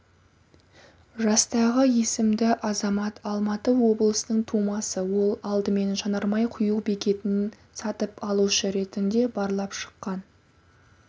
жастағы есімді азамат алматы облысының тумасы ол алдымен жанармай құю бекетін сатып алушы ретінде барлап шыққан